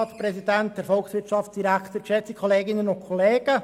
Kommissionssprecher der FiKo-Minderheit.